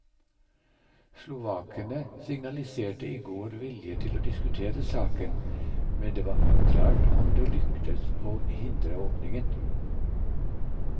Slovakene signaliserte i går vilje til å diskutere saken, men det var uklart om det lykkes å hindre åpningen.